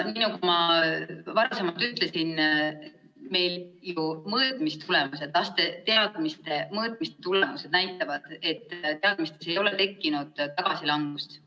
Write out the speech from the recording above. Nagu ma enne ütlesin, mõõtmistulemused, meie laste teadmiste mõõtmise tulemused näitavad, et teadmistes ei ole tekkinud tagasilangust.